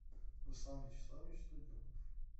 руслан вячеславович студенов